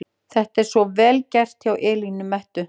Þetta er svo VEL GERT hjá Elínu Mettu!